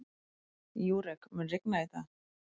Júrek, mun rigna í dag?